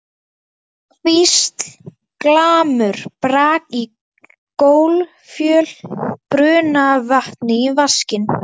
hvísl, glamur, brak í gólffjöl, buna af vatni í vaskinn.